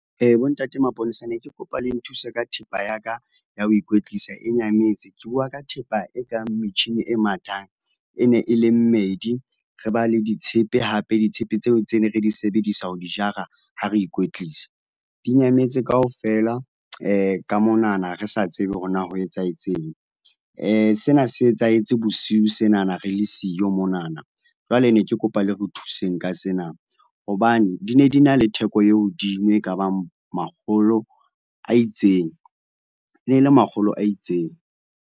Bontate maponesa ne ke kopa le nthuse ka thepa ya ka, ya ho ikwetlisa e nyametse. Ke bua ka thepa e kang metjhini e mathang, e ne e le mmedi, re ba le ditshepe hape. Ditshepe tseo tse ne re di sebedisa ho di jara ha ne re ikwetlisa. Di nyametse kaofela ka monana re sa tsebe hore na ho etsahetseng. Sena se etsahetse bosiu senana re le siyo monana, jwale ne ke kopa le re thuseng ka sena hobane di ne di na le theko e hodimo e kabang makgolo a itseng, e ne le makgolo a itseng.